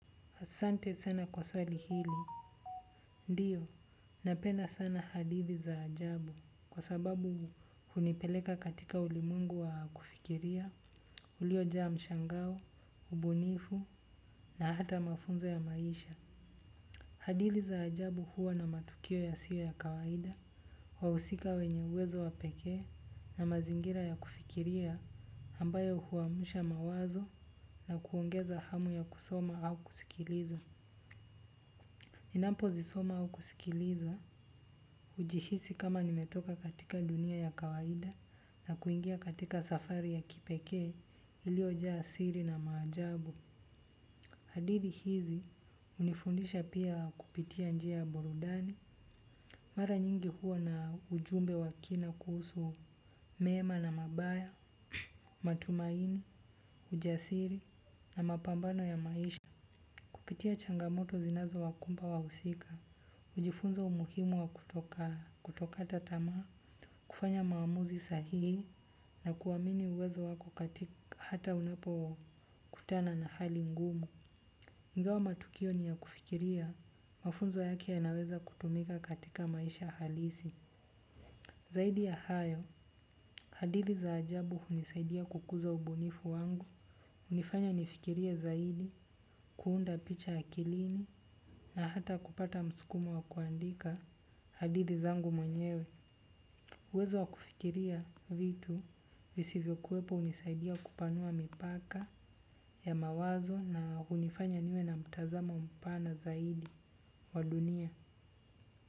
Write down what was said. Asante sana kwa swali hili. Ndio, napenda sana hadithi za ajabu kwa sababu hunipeleka katika ulimwengu wa kufikiria, ulioja mshangao, ubunifu na hata mafunzo ya maisha. Hadithi za ajabu huwa na matukio yasiyo ya kawaida, wahusika wenye uwezo wa pekee na mazingira ya kufikiria ambayo huamsha mawazo na kuongeza hamu ya kusoma au kusikiliza. Ninampozisoma au kusikiliza hujihisi kama nimetoka katika dunia ya kawaida na kuingia katika safari ya kipekee iliyoja siri na maajabu. Hadithi hizi hunifundisha pia kupitia njia ya burudani. Mara nyingi huwa na ujumbe wa kina kuhusu mema na mabaya, matumaini, ujasiri na mapambano ya maisha. Kupitia changamoto zinazowakumba wahusika, hujifunza umuhimu wa kutoka tamaa, kufanya maamuzi sahihi, na kuamini uwezo wako hata unapokutana na hali ngumu. Ingawa matukio ni ya kufikiria, mafunzo yake yanaweza kutumika katika maisha halisi. Zaidi ya hayo, hadithi za ajabu hunisaidia kukuza ubunifu wangu. Hunifanya nifikirie zaidi, kuunda picha akilini na hata kupata msukumo wa kuandika hadithi zangu mwenyewe. Uwezo wa kufikiria vitu visivyokuwepo hunisaidia kupanua mipaka ya mawazo na hunifanya niwe na mtazamo mpana zaidi wa dunia.